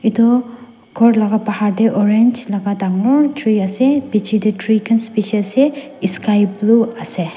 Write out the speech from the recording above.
edu khor laka bahar tae orange laka dangoor tree ase bichae tae tree khan bishi ase esky blue ase.